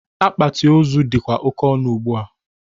Akpati ozu dịkwa oke ọnụ ugbua.